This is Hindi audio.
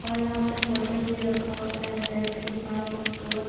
और यहां पे बोटल भी रखा हुआ है बेड के पास डोर --